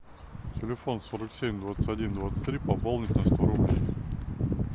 телефон сорок семь двадцать один двадцать три пополнить на сто рублей